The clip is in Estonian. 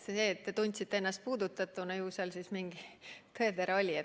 Aga kui te tundsite ennast puudutatuna, siis ju seal mingi tõetera oli.